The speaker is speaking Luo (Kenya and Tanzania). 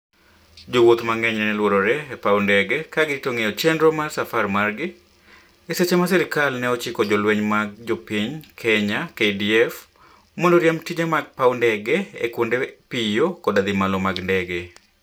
jo wuoth mang'eny nene luorore e paw ndege ka girito ng'eyo chenro mar safar margi, e seche ma serikal ne ochiko jolweny mag jopiny Kenya (KDF) mondo oriemb tije mag paw ndege e kuonde piyo koda dhi malo mag ndege